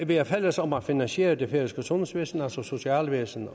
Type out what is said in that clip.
vi er fælles om at finansiere det færøske sundhedsvæsen altså socialvæsen